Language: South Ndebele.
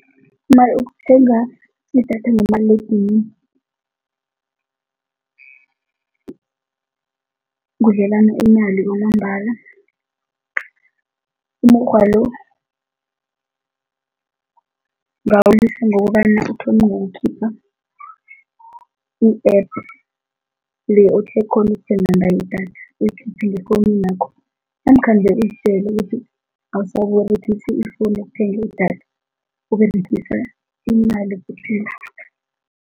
uthenga idatha ngomaliledinini kudlelana imali kwamambala, umukghwa lo ungawulisa ngokobana uthome ngokukhipha i-app le okghona ukuthenga ngayo idatha uyikhiphe ngefowuninakho namkha nje uzitjele ukuthi awusaberegisi ifowuni ukuthenga idatha, Uberegisa imali kuphela.